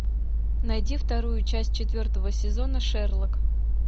найди вторую часть четвертого сезона шерлок